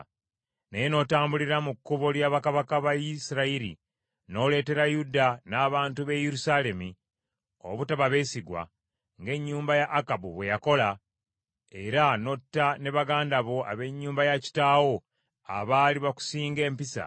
naye n’otambulira mu kkubo lya bakabaka ba Isirayiri, n’oleetera Yuda n’abantu b’e Yerusaalemi obutaba beesigwa, ng’ennyumba ya Akabu bwe yakola, era n’otta ne baganda bo ab’ennyumba ya kitaawo, abaali bakusinga empisa,